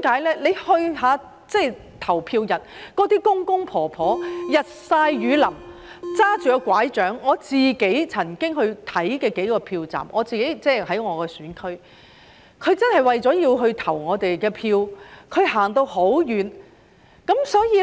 大家在投票日看看那些公公婆婆，日曬雨淋，拿着拐杖，我曾經到我的選區看過幾個票站，他們真的為了投我們一票而走到很遠，所以